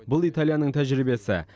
бұл италияның тәжірибесі